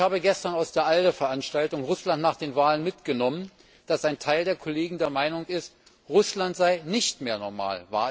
Ich habe gestern aus der ALDE Veranstaltung Russland nach den Wahlen mitgenommen, dass ein Teil der Kollegen der Meinung ist, Russland sei nicht mehr normal.